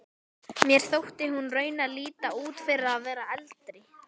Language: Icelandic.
Mér þótti hún raunar líta út fyrir að vera eldri.